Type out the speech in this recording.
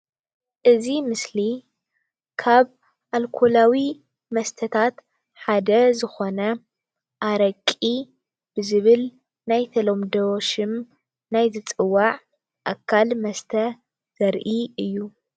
እዚ ምስሊ ካብ ኣልኮላዊ መስተታት ሓደ ዝኮነ ኣረቂ ብዝብል ናይ ተለምዶ ሹም ናይ ዝፅዋዕ ኣካል መስተ ዘርኢ እዩ ::